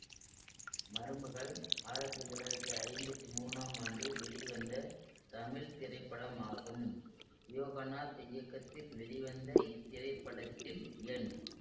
மருமகள் ஆயிரத்தி தொள்ளாயிரத்தி ஐம்பத்தி மூனாம் ஆண்டு வெளிவந்த தமிழ் திரைப்படமாகும் யோகநாத் இயக்கத்தில் வெளிவந்த இத்திரைப்படத்தில் என்